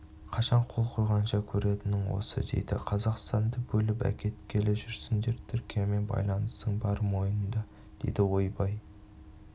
қашан қол қойғанша көретінің осы дейді қазақстанды бөліп әкеткелі жүрсіңдер түркиямен байланысың бар мойында дейді ойбай